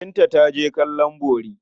Binta ta je kallon bori.